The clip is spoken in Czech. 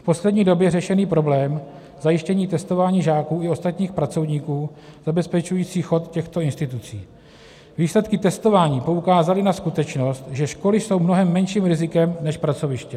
V poslední době řešený problém zajištění testování žáků i ostatních pracovníků, zabezpečujících chod těchto institucí, výsledky testování poukázaly na skutečnost, že školy jsou mnohem menším rizikem než pracoviště.